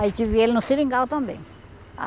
Aí tive ele no seringal também.